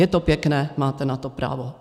Je to pěkné, máte na to právo.